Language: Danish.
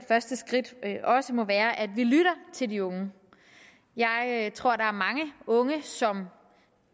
første skridt også må være at vi lytter til de unge jeg tror der er mange unge som